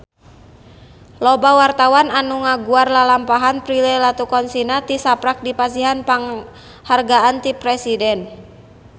Loba wartawan anu ngaguar lalampahan Prilly Latuconsina tisaprak dipasihan panghargaan ti Presiden